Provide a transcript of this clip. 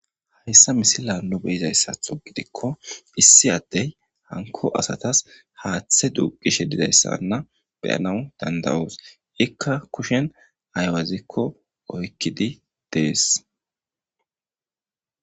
Hayisani misileyn nu be7izaythathogidiko issi adey haniko asatas hathe duqishe dizayisa be7anawu danida7os ika kushen ayiwazeko oyikidi des